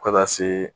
Fo ka na se